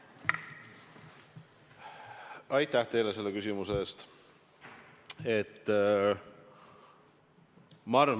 Aitäh teile selle küsimuse eest!